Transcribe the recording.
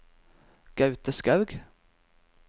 Gaute Skaug